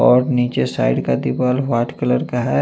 और नीचे साइड का दीवाल वाइट कलर का है।